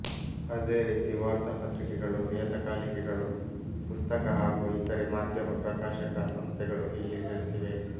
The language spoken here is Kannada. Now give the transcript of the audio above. ಅದೇ ರೀತಿ ವಾರ್ತಾ ಪತ್ರಿಕೆಗಳು ನಿಯತಕಾಲಿಕೆಗಳು ಪುಸ್ತಕ ಹಾಗೂ ಇತರೆ ಮಾಧ್ಯಮ ಪ್ರಕಾಶಕ ಸಂಸ್ಥೆಗಳು ಇಲ್ಲಿ ನೆಲೆಸಿವೆ